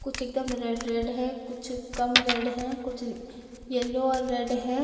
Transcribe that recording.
कुछ एकदम red red है कुछ कम रेड है कुछ येलो और रेड है।